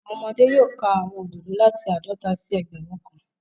Awọn ọmọde yoo ka awọn ododo lati aadọta si ẹgbẹrun kan